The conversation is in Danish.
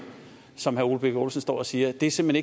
som herre ole birk olesen står og siger er simpelt